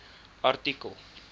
artikel